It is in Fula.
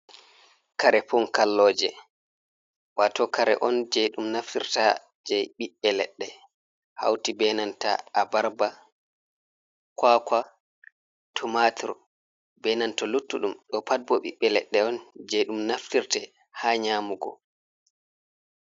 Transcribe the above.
Kare pun kalloje wato kare on je ɗum naftirta je ɓiɓbe ledde hauti benanta abarba, kwakwa tomatr, benanta luttuɗum ɗo pat bo ɓiɓbe leɗɗe on je ɗum naftirte ha nyamugo.